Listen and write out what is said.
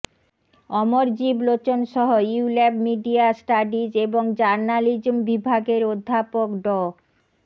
অমরজিভ লোচনসহ ULAB media studies এবং journalism বিভাগের অধ্যাপক ড